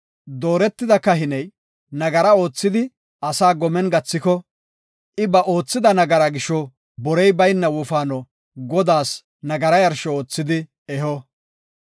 Dooretida kahiney nagara oothidi asaa gomen gathiko, I ba oothida nagaraa gisho borey bayna wofaano Godaas nagara yarsho oothidi eho.